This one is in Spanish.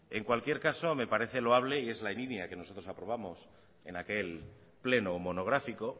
en cualquier caso me parece loable y es la línea que nosotros aprobamos en aquel pleno monográfico